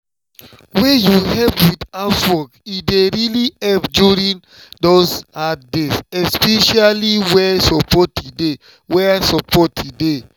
wen you help with housework e dey really help during those hard days especially where support dey. where support dey.